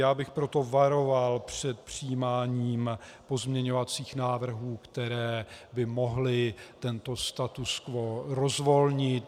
Já bych proto varoval před přijímáním pozměňovacích návrhů, které by mohly tento status quo rozvolnit.